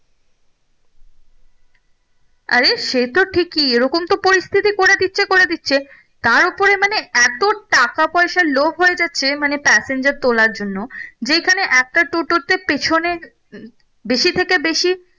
আরে সে তো ঠিকই এরকম তো পরিস্থিতি করে দিচ্ছে করে দিচ্ছে তার উপরে মানে এতো টাকা পয়সার লোভ হয়ে যাচ্ছে মানে passenger তোলার জন্য যেখানে একটা টোটোতে পেছনে বেশি থেকে বেশি